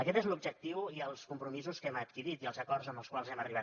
aquests són l’objectiu i els compromisos que hem adquirit i els acords als quals hem arribat